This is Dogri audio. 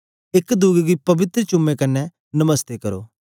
एक दुए गी पवित्र चुम्मे कन्ने नमस्ते करो